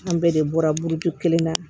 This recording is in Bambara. An bɛɛ de bɔra burukuru kelen na